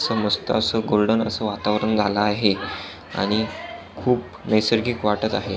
असं मस्त असं गोल्डन असं वातावरण झालं आहे आणि खूप नैसार्गिक वाटत आहे.